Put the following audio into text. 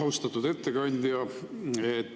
Austatud ettekandja!